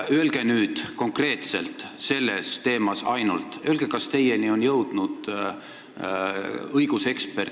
Öelge nüüd konkreetselt: kas teieni on jõudnud õigusekspertide kriitika, et see detsembris teoks saanud rahaandmise viis oli ebaseaduslik?